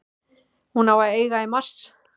Hún á að eiga í mars.